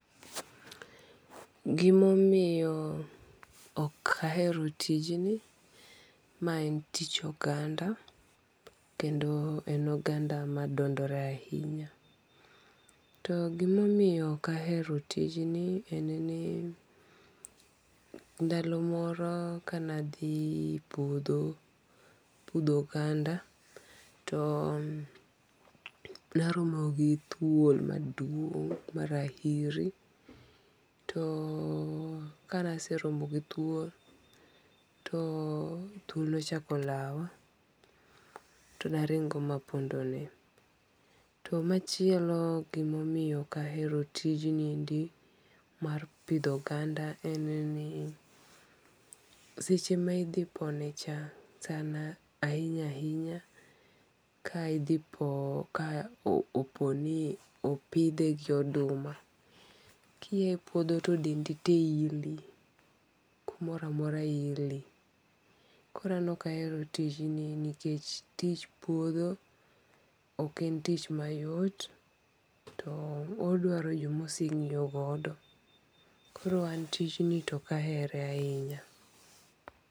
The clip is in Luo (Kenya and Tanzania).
Gima omiyo okaero tijni, mae en tich oganda, kendo en oganda ma dondore ahinya, to gimamiyo okaero tijni en niya ndalo moro kane athi puotho pitho oganda too naromo gi thuol maduong' marahiri to kane aseromo gi thuol to thuol nochako lawa to naringo' manapondene, to machielo gimomiyo okaero tijniendi mar pitho oganda en ni seche ma ithiponecha ahinyainya kaithipo kaoponi opithe gi oduma , kiyae puotho to dendi te ili kumoro amora ili, koro an okahero tijni nikech tich puotho ok en tich mayot to odwaro joma osengi'yo godo koro an tijni ok ahere ahinya.